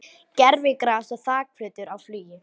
Gervigras og þakplötur á flugi